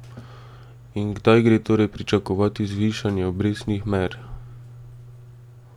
In kdaj gre torej pričakovati zvišanje obrestnih mer?